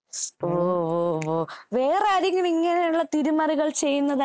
ഓ ഓ വേറാരെങ്കിലും ഇങ്ങനെയുള്ള തിരിമറികൾ ചെയ്യുന്നതായിട്ട് വല്ല അറിവുണ്ടോ